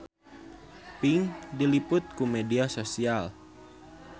Pink diliput ku media nasional